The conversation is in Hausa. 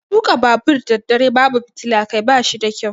Tuka babur daddare babu fitilar Kai bashi da ƙyau.